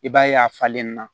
I b'a ye a falenna